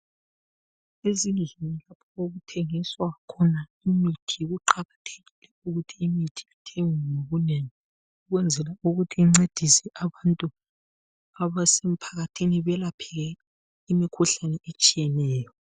Ezindlini okuthengiswa khona imithi kuqakathekile ukuthi imithi ithengwe ngobunengi kwenzela ukuthi kuncedise abantu abasemphakathini balapheke imikhuhlane etshiyeneyo.